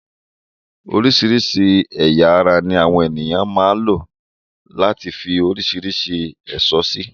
Oríṣìíríṣìí ẹ̀yà ara ní àwọn ènìyàn máa ń lu láti fi oríṣìíríṣìí ẹ̀ṣọ́ sí.